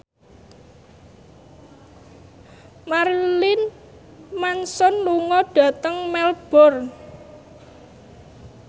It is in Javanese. Marilyn Manson lunga dhateng Melbourne